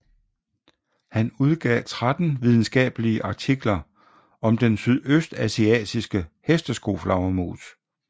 Han udgav 13 videnskabelige artikler om den sydøstasiatiske hesteskoflagermus